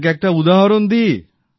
আপনাকে একটা উদাহরণ দিই